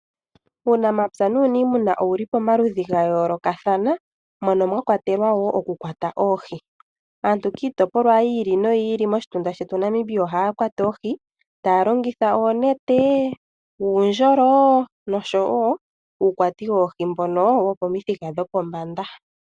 Uunamapya nuuniimuna owu li pomaludhi gayoolokathana mono mwakwatelwa woo okukwata oohi . Aantu kiitopolwa yiili noyiili moshitunda shetu ohaya kwata oohi taya longitha oonete, uundjolo noshowoo uukwati woohi mbono wokomithika dhopombanda.